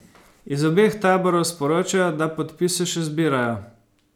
Iz obeh taborov sporočajo, da podpise še zbirajo.